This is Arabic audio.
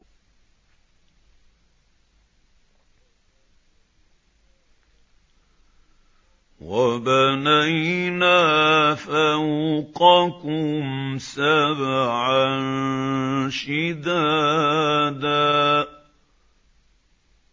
وَبَنَيْنَا فَوْقَكُمْ سَبْعًا شِدَادًا